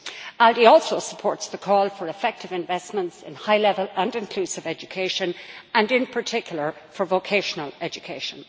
ALDE also supports the call for effective investment in high level and inclusive education and, in particular, for vocational education.